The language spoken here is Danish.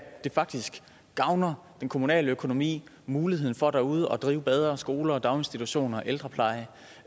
det faktisk gavner en kommunal økonomi muligheden for derude at drive bedre skoler og daginstitutioner og ældrepleje